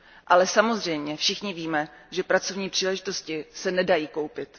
Ale samozřejmě všichni víme, že pracovní příležitosti se nedají koupit.